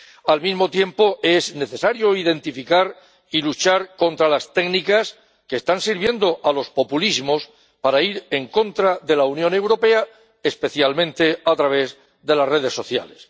Al mismo tiempo, es necesario identificar y luchar contra las técnicas que están sirviendo a los populismos para ir en contra de la Unión Europea, especialmente a través de las redes sociales.